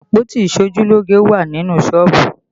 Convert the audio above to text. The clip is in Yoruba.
Àpótí iṣojúlógé wà nínú sọ́ọ̀bù